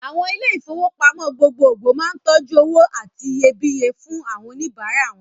Àwọn ilé-ìfowópamọ́ gbogbogbò máa ń tọ́jú owó àti iyebíye fún àwọn oníbàárà wọn.